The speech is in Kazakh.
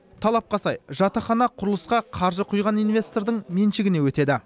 талапқа сай жатақхана құрылысқа қаржы құйған инвестордың меншігіне өтеді